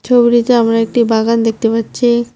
ছবিটিতে আমরা একটি বাগান দেখতে পাচ্চি।